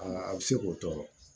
An a bɛ se k'o tɔɔrɔ